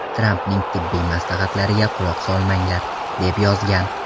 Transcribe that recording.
Trampning tibbiy maslahatlariga quloq solmanglar”, deb yozgan.